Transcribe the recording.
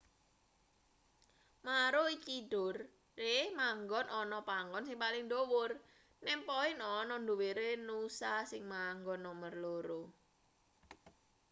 maroochydore manggon ana panggon sing paling dhuwur nem poin ana ndhuwure noosa sing manggon nomer loro